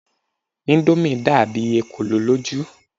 Indomie dàbí ekolo lójú.